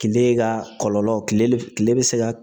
Kile ka kɔlɔlɔ kile kile be se ka